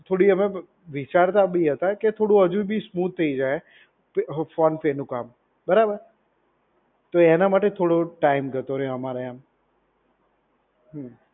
થોડું અમે વિચારતા બી હતા કે થોડું હજુ બી સ્મૂથ થઈ જાય. તો ફોન પે નું કામ. બરાબર? તો એના માટે થોડો ટાઈમ જતો રહ્યો એમ. હમ્મ.